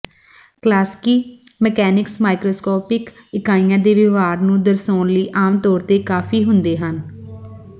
ਕਲਾਸਿਕੀ mechanics macroscopic ਇਕਾਈਆਂ ਦੇ ਵਿਵਹਾਰ ਨੂੰ ਦਰਸਾਉਣ ਲਈ ਆਮ ਤੌਰ ਤੇ ਕਾਫੀ ਹੁੰਦੇ ਹਨ